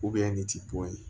ne ti bɔ ye